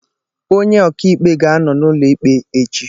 Onye ọkaikpe ga-anọ n'ụlọ ikpe echi